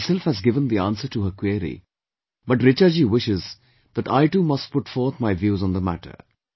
Although she herself has given the answer to her query, but Richa Ji wishes that I too must put forth my views on the matter